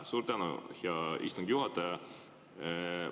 Suur tänu, hea istungi juhataja!